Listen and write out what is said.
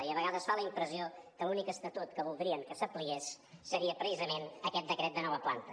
i a vegades fa la impressió que l’únic estatut que voldrien que s’apliqués seria precisament aquest decret de nova planta